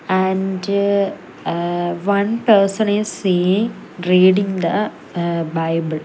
and eh one person is seeing reading the eh bible.